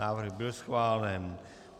Návrh byl schválen.